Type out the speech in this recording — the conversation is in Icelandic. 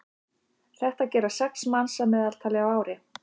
þetta gera sex manns að meðaltali á ári